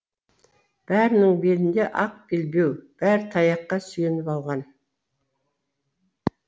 бәрінің белінде ақ белбеу бәрі таяққа сүйеніп алған